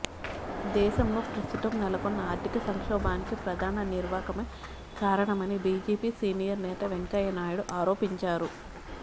దేశంలో ప్రస్తుతం నెలకొన్న ఆర్ధిక సంక్షోభానికి ప్రధాని నిర్వాకమే కారణమని బిజెపి సీనియర్ నేత వెంకయ్య నాయుడు ఆరోపించారు